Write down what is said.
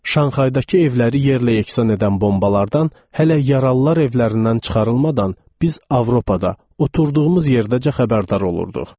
Şanxaydakı evləri yerlə yeksan edən bombalardan hələ yaralılar evlərindən çıxarılmadan biz Avropada oturduğumuz yerdəcə xəbərdar olurduq.